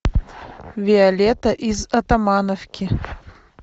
виолетта из атамановки